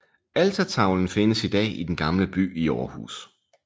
Altertavlen findes i dag i Den Gamle By i Aarhus